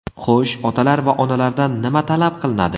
Xo‘sh, otalar va onalardan nima talab qilinadi?